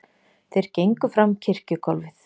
Þeir gengu fram kirkjugólfið.